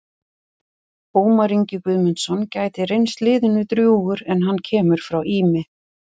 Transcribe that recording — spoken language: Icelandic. Ómar Ingi Guðmundsson gæti reynst liðinu drjúgur en hann kemur frá Ými.